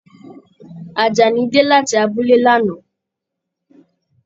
Ajání dé láti abúlé l'ana.